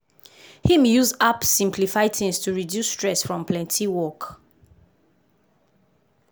him use app simplify things to reduce stress from plenty work.